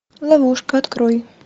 ловушка открой